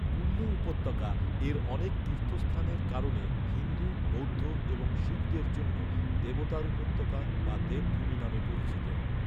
কুল্লু উপত্যকা, এর অনেক তীর্থস্থানের কারণে হিন্দু, বৌদ্ধ এবং শিখদের জন্য "দেবতার উপত্যকা" বা "দেব ভূমি" নামে পরিচিত।